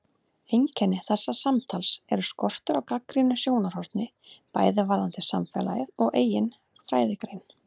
Þreyta ferðarinnar og uppskakandi hafa náð tökum á mér og ég fjara út.